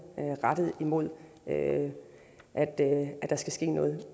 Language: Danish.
rettet mod at der skal ske noget